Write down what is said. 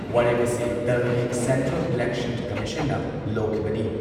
ꯋꯥꯔꯦꯞ ꯑꯁꯤ ꯗꯜꯒꯤ ꯁꯦꯟꯇ꯭ꯔꯦꯜ ꯏꯂꯦꯛꯁꯟ ꯀꯝꯃꯤꯁꯟꯅ ꯂꯧꯈꯤꯕꯅꯤ ꯫